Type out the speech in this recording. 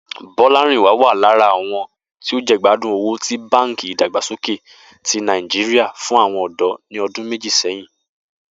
Bó̩lárìnwá wà lára àwo̩n tí ó jègbádùn owó tí Báǹkì Ìdàgbàsókè ti Nàìjíríà fún àwo̩n ò̩dó̩ ní o̩dún méjì sé̩yìn